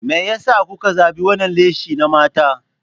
Me yasa kuka zabi wannan lashe na mata?